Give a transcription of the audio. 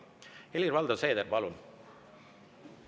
Helir-Valdor Seeder, palun!